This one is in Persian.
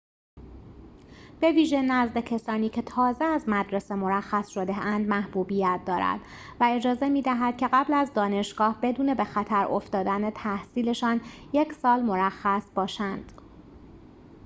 بویژه نزد کسانی که تازه از مدرسه مرخص شده‌اند محبوبیت دارد و اجازه می‌دهد که قبل از دانشگاه بدون به خطر افتادن تحصیل‌شان یک سال مرخص باشند